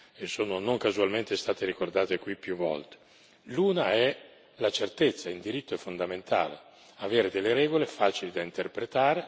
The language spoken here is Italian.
In primo luogo, la certezza in diritto è fondamentale avere delle regole facili da interpretare ed efficaci nella fase della loro attuazione.